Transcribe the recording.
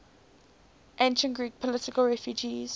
ancient greek political refugees